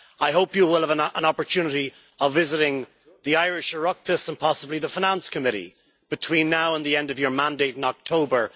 I hope you will have an opportunity to visit the Irish Oireachtas and possibly the Finance Committee between now and the end of your mandate in October